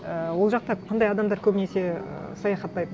ііі ол жақта қандай адамдар көбінесе і саяхаттайды